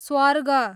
स्वर्ग